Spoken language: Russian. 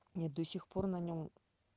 мне до сих пор на нем